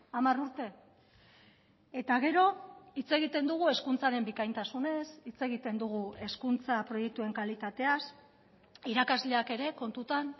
hamar urte eta gero hitz egiten dugu hezkuntzaren bikaintasunez hitz egiten dugu hezkuntza proiektuen kalitateaz irakasleak ere kontutan